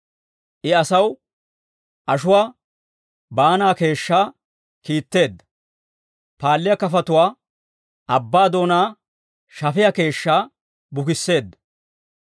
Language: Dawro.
I asaw ashuwaa baanaa keeshshaa kiitteedda; paalliyaa kafotuwaa abbaa doonaa shafiyaa keeshshaa bukisseedda.